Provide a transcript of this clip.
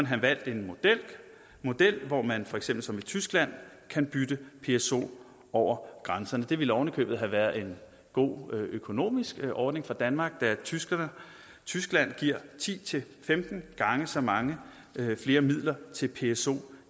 have valgt en model hvor man for eksempel som i tyskland kan bytte pso over grænsen det ville oven i købet have været en god økonomisk ordning for danmark da tyskland tyskland giver ti til femten gange så mange flere midler til pso